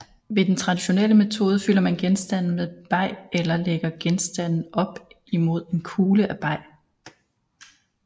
Ved den traditionelle metode fylder man genstanden med beg eller lægger genstanden op imod en kugle af beg